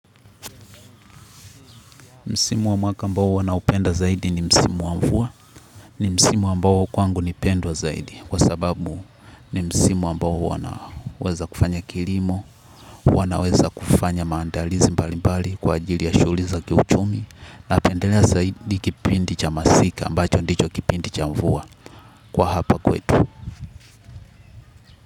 Msimu wa mwaka ambao huwa naupenda zaidi ni msimu wa mvua, ni msimu ambao kwangu ni pendwa zaidi kwa sababu ni msimu ambao huwa naweza kufanya kilimo, huwa naweza kufanya maandalizi mbali mbali kwa ajili ya shughuli za kiuchumi napendelea zaidi kipindi cha masika ambacho ndicho kipindi cha mvua kwa hapa kwetu.